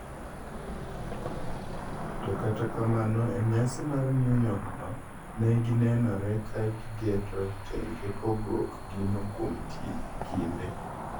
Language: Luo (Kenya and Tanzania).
To kata kamano e nyasi mar New York no ,ne ginenore ka giketo tenge pogruok gino kuom kinde.